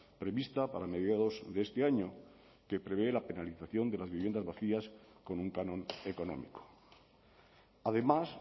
prevista para mediados de este año que prevé la penalización de las viviendas vacías con un canon económico además